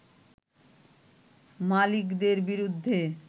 মালিকদের বিরুদ্ধে